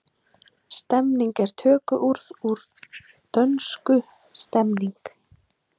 Stemning er tökuorð úr dönsku stemning.